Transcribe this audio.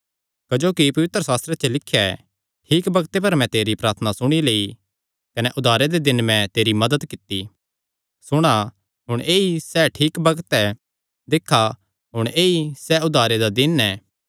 क्जोकि पवित्रशास्त्रे च लिख्या ऐ ठीक बग्ते पर मैं तेरी प्रार्थना सुणी लेई कने उद्धारे दे दिने मैं तेरी मदत कित्ती सुणा हुण ऐई ऐ सैह़ ठीक बग्त ऐ दिक्खा हुण ऐई ऐ सैह़ उद्धारे दा दिन ऐ